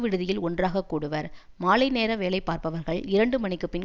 விடுதியில் ஒன்றாகக்கூடுவர் மாலை நேர வேலை பார்ப்பவர்கள் இரண்டு மணிக்குப் பின்